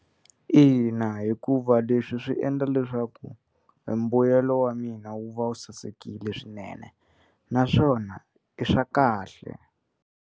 Ina hikuva leswi swi endla leswaku e mbuyelo wa mina wu va wu sasekile swinene naswona i swa kahle.